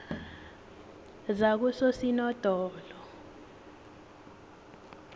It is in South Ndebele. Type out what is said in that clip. zakososinodolo